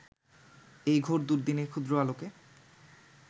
এই ঘোর দুর্দ্দিনে ক্ষুদ্র আলোকে